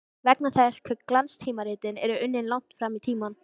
Vegna þess hve glanstímaritin eru unnin langt fram í tímann.